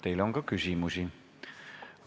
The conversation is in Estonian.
Teile on küsimusi.